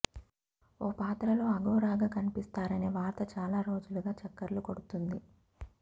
ఓ పాత్రలో అఘోరాగా కనిపిస్తారనే వార్త చాలా రోజులుగా చక్కర్లు కొడుతుంది